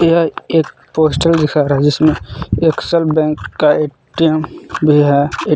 यह एक पोस्टर दिखा था जिसमें एक्सेस बैंक का ए_टी_एम भी है।